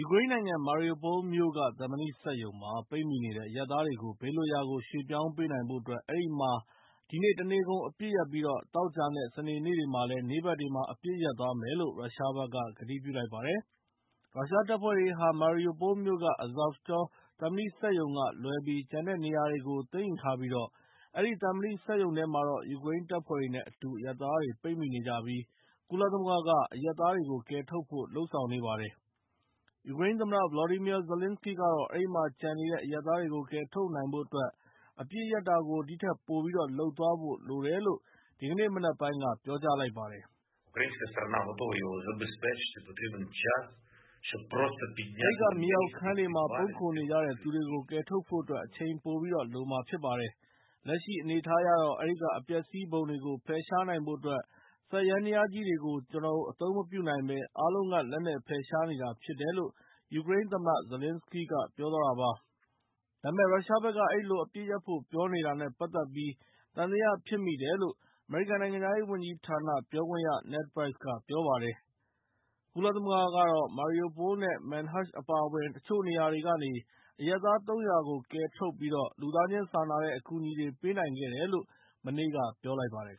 ူကရိန်းနိုင်ငံ Mariupol မြို့က သံမဏိစက်ရုံမှာပိတ်မိနေတဲ့အရပ်သားတွေကို ဘေးလွတ်ရာကို ရွှေ့ပြောင်းပေးနိုင်ဖို့အတွက် အဲဒီမြို့မှာ ဒီနေ့ တနေ့ကုန် အပစ်ရပ်ပြီး သောကြာနဲ့ စနေနေ့တွေမှာတော့ နေ့ဘက်တွေမှာ အပစ်ရပ်သွားမယ်လို့ ရုရှားဘက်က ကတိပြုလိုက်ပါတယ်။ ရုရှားတပ်တွေဟာ Mariupol မြို့က Azovstal သံမဏိစက်ရုံကလွဲပြီး ကျန်တဲ့နေရာတွေကို သိမ်းယူထားပြီး အဲဒီသံမဏိစက်ရုံထဲမှာ ယူကရိန်းတပ်ဖွဲ့တွေနဲ့အတူ ပိတ်မိနေတဲ့အရပ်သားတွေကို ကုလသမဂ္ဂက ကယ်ထုတ်ဖို့ လုပ်ဆောင်နေပါတယ်။ ယူကရိန်းသမ္မတ Volodymyr Zelenskyy ကတော့ အဲဒီမှာ ကျန်နေတဲ့ အရပ်သားတွေကို ကယ်ထုတ်နိုင်ဖို့အတွက် အပစ်ရပ်တာကို ပိုပြီးတော့ လုပ်သွားဖို့လိုတယ်လို့ ဒီကနေ့ မနက်ပိုင်က ပြောကြားလိုက်ပါတယ်။ “အဲဒီက မြေအောက်ခန်းတွေမှာ ပုန်းခိုနေကြတဲ့တဲ့သူတွေကို ကယ်ထုတ်ဖို့အတွက် အချိန်ပိုပြီးတော့ လိုမှာဖြစ်ပါတယ်။ လက်ရှိအနေအထားအရတော့ အဲဒီက အပျက်အစီးပုံတွေကို ဖယ်ရှားနိုင်ဖို့အတွက် စက်ယန္တရားကြီးတွေကို ကျနော်တို့ အသုံးမပြုနိုင်ဘဲ အားလုံးက လက်နဲ့ ဖယ်ရှားနေရတာဖြစ်တယ်လို့” ယူကရိန်းသမ္မတ ဇာလင်စကီးက ပြောသွားတာပါ။ ဒါပေမယ့် ရုရှားဘက်က အဲဒီလို အပစ်ရပ်ဖို့ပြောနေတာနဲ့ပတ်သက်ပြီး သံသယဖြစ်မိတယ်လို့ အမေရိကန်နိုင်ငံခြားရေးဝန်ကြီးဌာနက ပြောခွင့်ရ Ned Price က ပြောလိုက်ပါတယ်။ ကုလသမဂ္ဂကတော့ Mariupol နဲ့ Manhush အပါအဝင် တချို့နေရာတွေကနေ အရပ်သား ၃၀၀ ကို ကယ်ထုတ်ပြီး လူသားချင်းစာနာတဲ့ အကူအညီတွေပေးနိုင်ခဲ့တယ်လို့ မနေ့က ပြောလိုက်ပါတယ်